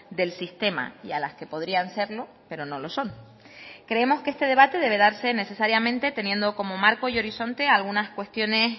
del sistema y a las que podrían serlo pero no lo son creemos que este debate debe darse necesariamente teniendo como marco y horizonte algunas cuestiones